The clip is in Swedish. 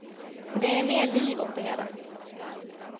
Det ger mer liv åt det hela.